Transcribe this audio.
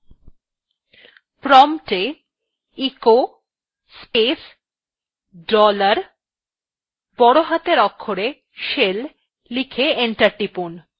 prompt এ echo space dollar বড় হাতের অক্ষরে shell লিখে enter টিপুন